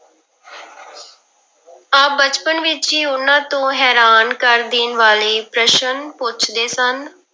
ਆਪ ਬਚਪਨ ਵਿੱਚ ਹੀ ਉਹਨਾਂ ਤੋਂ ਹੈਰਾਨ ਕਰ ਦੇਣ ਵਾਲੇ ਪ੍ਰਸ਼ਨ ਪੁੱਛਦੇ ਸਨ।